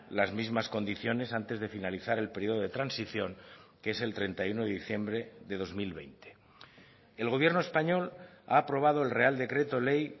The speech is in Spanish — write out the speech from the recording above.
las mismas condiciones antes de finalizar el periodo de transición que es el treinta y uno de diciembre de dos mil veinte el gobierno español ha aprobado el real decreto ley